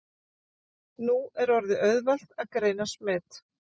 Nú orðið er auðvelt að greina smit.